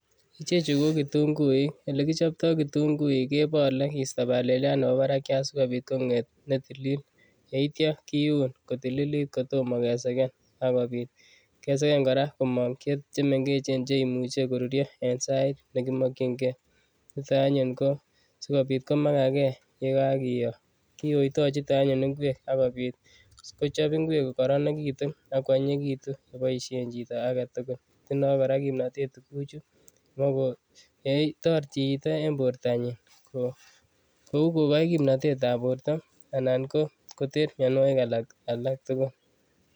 Ichechu ko ko kitunguik. Ole kichopto kitunguik kebole kiisto baleliat nebo barakiat sigopit konget ne tililil. Yeitya kiun kotililit kotoma kesegen ak kopit kesegen kora komong che mengechen che imuchi ko rurio en sait nekimokyinge. Nito anyun ko sigopit komagage ye kakiyo. Kiyoito chuto anyun ingwek ak kopit kochop ingwek kokororonekitu ak kwanyinyekitu koboien chito agetugul. Tindo kora kimnatet tuguchu ogotoreti chito eng bortanyin kuo kogoi kimnatet en borto anan ko koter mianwogik alak tugul.